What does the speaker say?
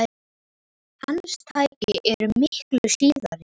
Hans tæki eru miklu síðri.